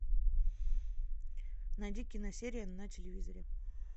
найди киносерия на телевизоре